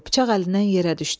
Bıçaq əlindən yerə düşdü.